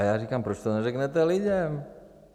A já říkám: Proč to neřeknete lidem?